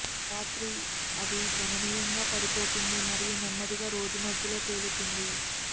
రాత్రి అది గణనీయంగా పడిపోతుంది మరియు నెమ్మదిగా రోజు మధ్యలో తేలుతుంది